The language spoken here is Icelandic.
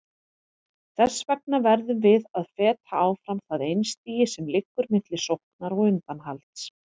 Þess vegna verðum við að feta áfram það einstigi sem liggur milli sóknar og undanhalds.